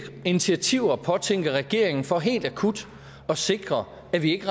initiativer påtænker regeringen for helt akut at sikre at vi ikke